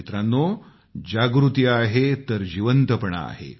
मित्रांनो जागृती आहे तर जिवंतपणा आहे